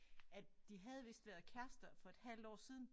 At de havde vist været kærester for et halvt år siden